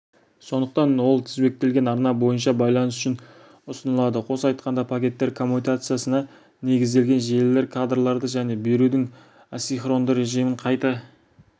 сондықтан ол тізбектелген арна бойынша байланыс үшін ұсынылады қоса айтқанда пакеттер коммутациясына негізделген желілер кадрларды және берудің асинхронды режимін қайта